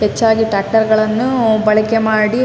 ಹೆಚ್ಚಾಗಿ ಟ್ರಾಕ್ಟಾರ್ ಗಳನ್ನೂ ಬಳಕೆ ಮಾಡಿ --